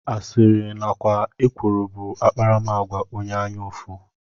Asịrị nakwa ekworo bụ akparamagwa onye anya ụfụ